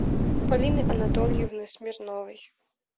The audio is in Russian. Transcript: полины анатольевны смирновой